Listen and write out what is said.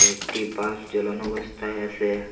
একটি বালভ জ্বালানো অবস্থায় আসে ।